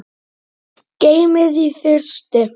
Gerist eitthvað svipað í kvöld?